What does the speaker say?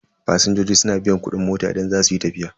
Fasinjoji suna biyan kudin mota idan za su yi tafiya.